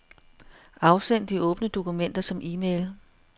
Afsend de åbne dokumenter som e-mail.